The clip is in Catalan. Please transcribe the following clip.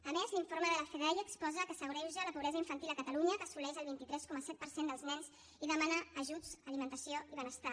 a més l’informe de la fedaia exposa que s’agreuja la pobresa infantil a catalunya que assoleix el vint tres coma set per cent dels nens i demana ajuts alimentació i benestar